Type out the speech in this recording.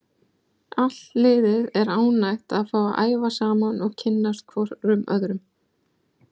Allt liðið er ánægt að fá að æfa saman og kynnast hvorum öðrum.